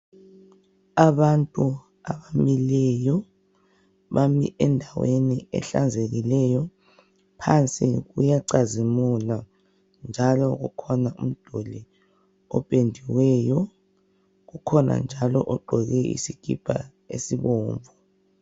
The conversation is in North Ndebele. Abantu abamileyo bami endaweni ehlanzekileyo phansi kuyacazimula , njalo kukhona umduli opendiweyo kukhona njalo ogqoke isikipa isibomvu.